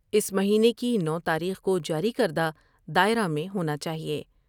اس مہینے کی نو تاریخ کو جاری کردہ دائرہ میں ہونا چاہئے ۔